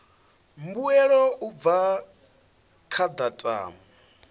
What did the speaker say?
mbuelo u bva kha datumu